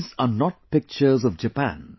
These are not pictures of Japan